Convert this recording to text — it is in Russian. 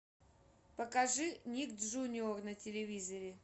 покажи ник джуниор на телевизоре